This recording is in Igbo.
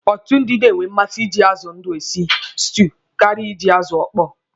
Ọtụtụ ndi na-enwe mmasị iji azụ ndụ esi stuu karịa iji azụ ịkpọ.